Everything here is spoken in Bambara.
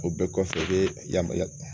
O bɛɛ kɔfɛ i bɛ ya